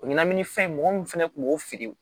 O ɲɛnamini fɛn mɔgɔ min fɛnɛ kun b'o fili